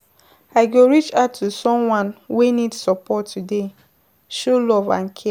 I go reach out to someone wey need support today, show love and care.